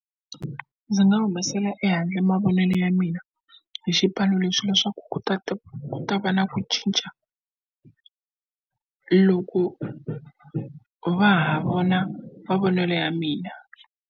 Ndzi nga humesela ehandle mavonelo ya mina hi xipano leswi leswaku ku ta ta ku ta va na ku cinca loko va ha vona mavonelo ya mina.